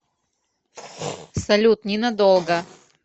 салют ненадолго